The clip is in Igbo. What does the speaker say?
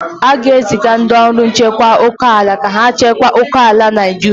A ga-eziga ndị ọrụ nchekwa oke ala ka ha chekwa oke ala Naijiria.